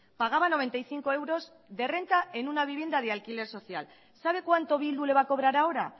pagaba noventa y cinco euros de renta en una vivienda de alquiler social sabe cuánto bildu le va a cobrar ahora